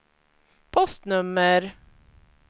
postnummer